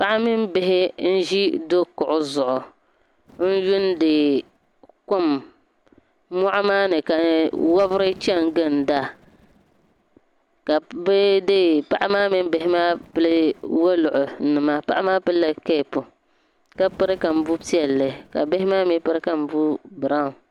Paɣa mini bihi n-ʒi dokuɣu zuɣu n-yuundi kom mɔɣuni maa ni ka wabiri chani ginda bee dee paɣa maa mini bihi maa pili woluri. Paɣa maa pilila kapu ka piri kambu' piɛlli ka bihi maa mi piri kambuu biraun.